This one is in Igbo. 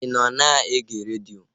Ị nọ na-ege redio?